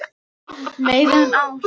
Meira en ár.